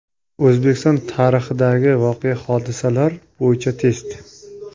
O‘zbekiston tarixidagi voqea-hodisalar bo‘yicha test.